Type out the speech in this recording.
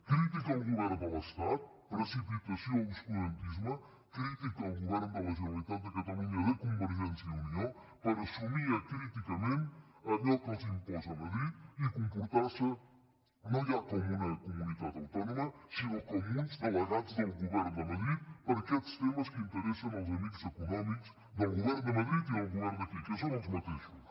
crítica al govern de l’estat precipitació obscurantisme crítica al govern de la generalitat de catalunya de convergència i unió per assumir acríticament allò que els imposa madrid i comportar se no ja com una comunitat autònoma sinó com uns delegats del govern de madrid per a aquests temes que interessen als amics econòmics del govern de madrid i del govern d’aquí que són els mateixos